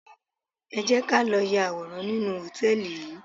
Ẹ jẹ́ ká lọ ya àwòrán nínú hòtẹ́ẹ̀lì yìí.